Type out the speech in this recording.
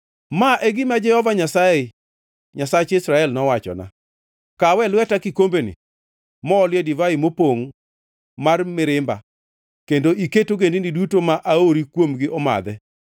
Ma e gima Jehova Nyasaye, Nyasach Israel, nowachona: “Kaw e lweta kikombeni moole divai mopongʼ mar mirimba kendo iket ogendini duto ma aori kuomgi omadhe.